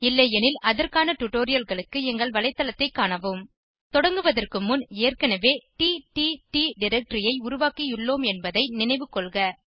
இல்லையெனில் அதற்கான டுடோரியல்களுக்கு எங்கள் வலைத்தளத்தைக் காணவும் தொடங்குவதற்கு முன் ஏற்கனவே டிடிடி டைரக்டரி ஐ உருவாக்கியுள்ளோம் என்பதை நினைவு கொள்க